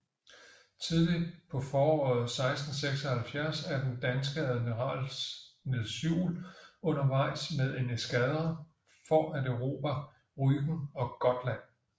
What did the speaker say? Tidligt på foråret 1676 er den danske amiral Niels Juel undervejs med en eskadre for at erobre Rügen og Gotland